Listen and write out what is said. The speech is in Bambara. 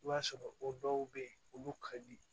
I b'a sɔrɔ o dɔw be yen olu ka di